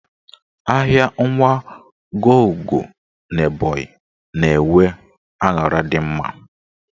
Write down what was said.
Ahịa Nwagọugo n'Ebọnyị na-enwe aṅara dị mma.